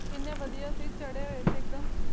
ਇੰਨੇ ਵਧੀਆ ਸੀ ਚੜੇ ਹੋਏ ਸੀ ਇੱਕਦਮ